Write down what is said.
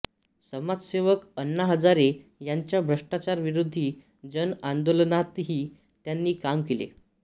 समाजसेवक अण्णा हजारे यांच्या भ्रष्टाचार विरोधी जन आंदोलनातही त्यांनी काम केले